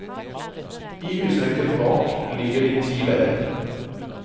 I husrekken bak ligger de ti leilighetene.